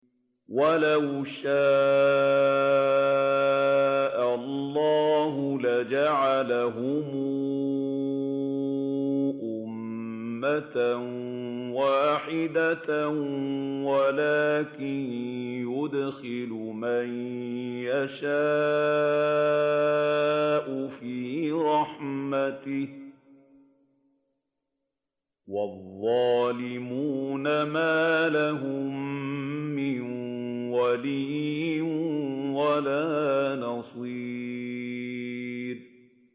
وَلَوْ شَاءَ اللَّهُ لَجَعَلَهُمْ أُمَّةً وَاحِدَةً وَلَٰكِن يُدْخِلُ مَن يَشَاءُ فِي رَحْمَتِهِ ۚ وَالظَّالِمُونَ مَا لَهُم مِّن وَلِيٍّ وَلَا نَصِيرٍ